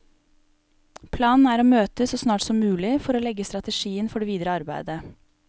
Planen er å møtes så snart som mulig, for å legge strategien for det videre arbeidet.